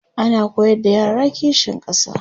ana koyar da yara kishin ƙasa